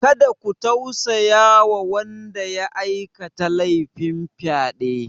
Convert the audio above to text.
Kada ku tausaya wa wanda ya aikata lefin fyaɗe!